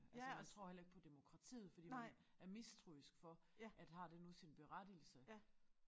Altså man tror heller ikke på demokratiet fordi man er mistroisk for at har det nu sin berettigelse